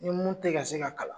Ni mun tɛ ka se ka kalan.